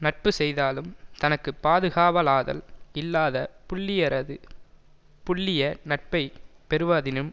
நட்பு செய்தாலும் தனக்கு பாதுகாவலாதல் இல்லாத புல்லியரது புல்லிய நட்பை பெறுவாதினும்